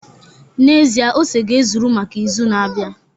N'ezie, ose ga-ezuru maka izu na-abịa